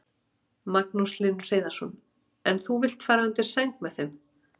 Magnús Hlynur Hreiðarsson: En þú vilt fara undir sæng með þeim?